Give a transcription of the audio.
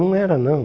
Não era, não.